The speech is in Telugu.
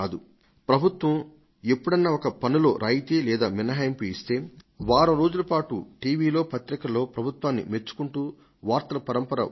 ప్రభుత్వం ఎప్పుడన్నా ఒక పన్నులో రాయితీ లేదా మినహాయింపు ఇస్తే వారం రోజుల పాటు టీవీలో పత్రికలలో ప్రభుత్వాన్ని మెచ్చుకుంటూ వార్తల పరంపర వస్తుంది